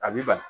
A b'i bali